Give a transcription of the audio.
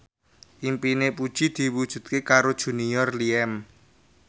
impine Puji diwujudke karo Junior Liem